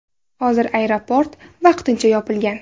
Hozir aeroport vaqtincha yopilgan.